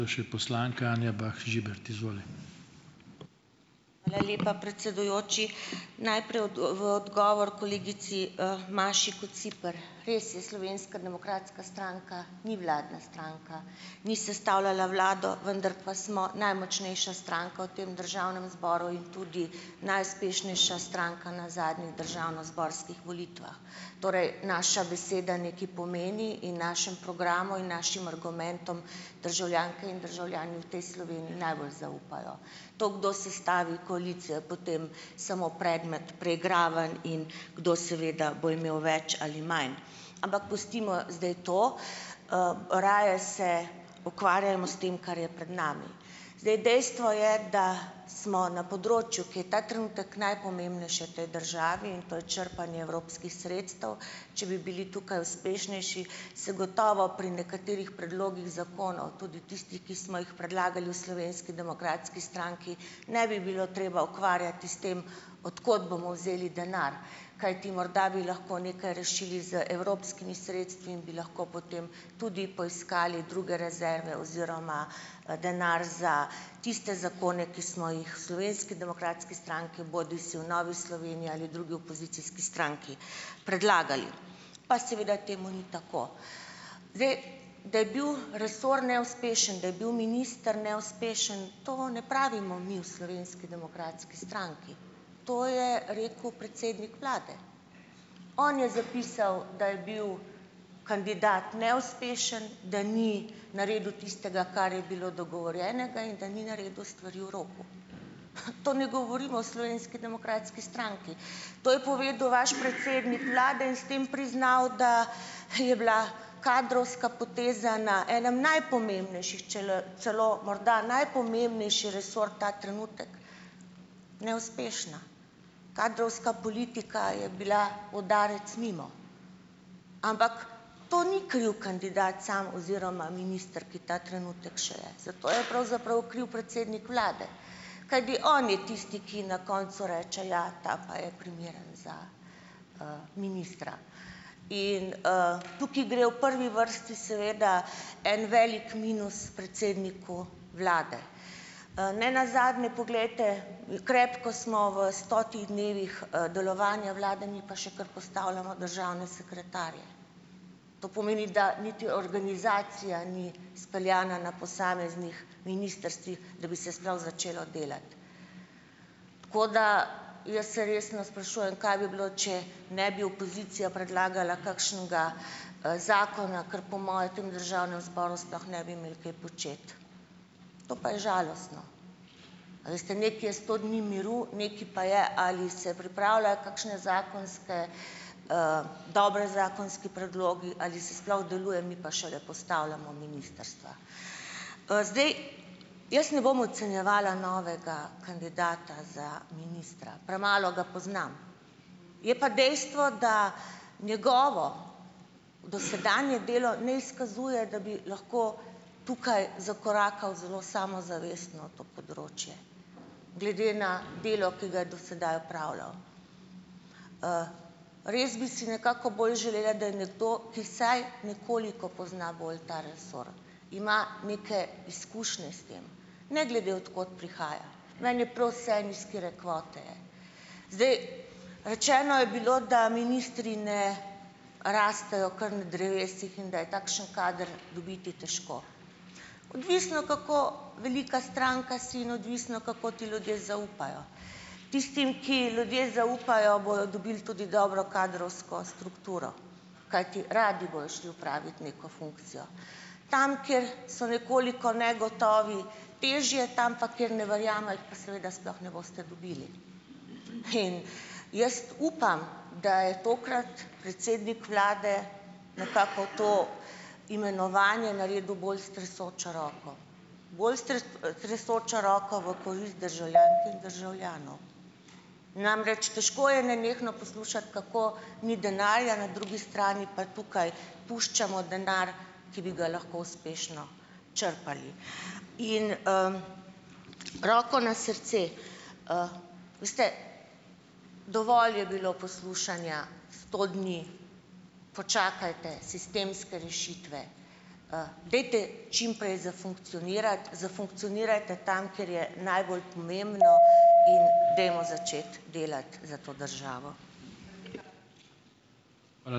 Hvala lepa, predsedujoči! Najprej v odgovor kolegici, Maši Kociper - res je, Slovenska demokratska stranka ni vladna stranka. Ni sestavljala vlado, vendar pa smo najmočnejša stranka v tem državnem zboru in tudi najuspešnejša stranka na zadnjih državnozborskih volitvah. Torej, naša beseda nekaj pomeni in našemu programu in našim argumentom državljanke in državljani v tej Sloveniji najbolj zaupajo. To, kdo sestavi koalicijo je potem samo predmet preigravanj in kdo seveda bo imel več ali manj, ampak pustimo zdaj to. Raje se ukvarjajmo s tem, kar je pred nami. Zdaj dejstvo je, da smo na področju, ki je ta trenutek najpomembnejše v tej državi, in to je črpanje evropskih sredstev, če bi bili tukaj uspešnejši, se gotovo pri nekaterih predlogih zakonov, tudi tistih, ki smo jih predlagali v Slovenski demokratski stranki, ne bi bilo treba ukvarjati s tem od kod bomo vzeli denar, kajti morda bi lahko nekaj rešili z evropskimi sredstvi in bi lahko potem tudi poiskali druge rezerve oziroma, denar za tiste zakone, ki smo jih v Slovenski demokratski stranki bodisi v Novi Sloveniji ali drugi opozicijski stranki predlagali, pa seveda temu ni tako. Zdaj, da je bil resor neuspešen, da je bil minister neuspešen, to ne pravimo mi v Slovenski demokratski stranki. To je rekel predsednik vlade. On je zapisal, da je bil kandidat neuspešen, da ni naredil tistega, kar je bilo dogovorjenega, in da ni naredil stvari v roku. To ne govorimo v Slovenski demokratski stranki. To je povedal vaš predsednik vlade in s tem priznal, da je bila kadrovska poteza na enem najpomembnejših, če le celo morda najpomembnejši resor, ta trenutek neuspešna. Kadrovska politika je bila udarec mimo. Ampak to ni kriv kandidat sam oziroma minister, ki ta trenutek še je. Zato je pravzaprav kriv predsednik vlade, kajti on je tisti, ki na koncu reče, ja, ta pa je primeren za, ministra. In, tukaj gre v prvi vrsti seveda en velik minus predsedniku vlade. ne nazadnje, poglejte, krepko smo v stotih dnevih, delovanja vlade, mi pa še kar postavljamo državne sekretarje. To pomeni, da niti organizacija ni speljana na posameznih ministrstvih, da bi se sploh začelo delati. Tako da jaz se resno sprašujem, kaj bi bilo, če ne bi opozicija predlagala kakšnega, zakona, kar po moje v tem državnem zboru sploh ne bi imeli kaj početi. To pa je žalostno. A veste, nekaj je sto dni miru, nekaj pa je, ali se pripravljajo kakšne zakonske, dobri zakonski predlogi ali se sploh deluje, mi pa šele postavljamo ministrstva. zdaj jaz ne bom ocenjevala novega kandidata za ministra. Premalo ga poznam. Je pa dejstvo, da njegovo dosedanje delo ne izkazuje, da bi lahko tukaj zakorakal zelo samozavestno na to področje, glede na delo, ki ga je do sedaj opravljal. Res bi si nekako bolj želela, da je nekdo, ki vsaj nekoliko pozna bolj ta resor, ima neke izkušnje s tem, ne glede od kod prihaja. Meni je prav vseeno, iz katere kvote je. Zdaj, rečeno je bilo, da ministri ne rastejo kar na drevesih in da je takšen kader težko dobiti. Odvisno, kako velika stranka si, in odvisno, kako ti ljudje zaupajo. Tistim, ki ljudje zaupajo, bodo dobili tudi dobro kadrovsko strukturo, kajti radi bojo šli opravit neko funkcijo. Tam, kjer so nekoliko negotovi težje, tam pa, kjer ne verjamejo, jih pa seveda sploh ne boste dobili. In jaz upam, da je tokrat predsednik vlade nekako to imenovanje naredil bolj s tresočo roko, bolj s s tresočo roko v korist državljank in državljanov. Namreč, težko je nenehno poslušati, kako ni denarja, na drugi strani pa tukaj puščamo denar, ki bi ga lahko uspešno črpali. In, Roko na srce, veste, dovolj je bilo poslušanja sto dni, počakajte, sistemske rešitve, dajte čim prej zafunkcionirati. Zafunkcionirajte tam, kjer je najbolj pomembno, in dajmo začeti delati za to državo.